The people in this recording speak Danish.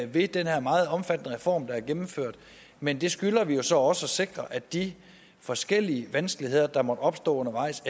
ved den her meget omfattende reform der er gennemført men vi skylder jo så også at sikre at de forskellige vanskeligheder der måtte opstå undervejs